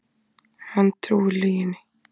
Hann trúir lyginni.